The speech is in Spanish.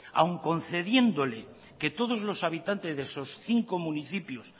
aún concediéndole que todos los habitantes de esos cinco municipios